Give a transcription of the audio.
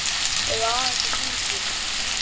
Eða aðeins of þungur?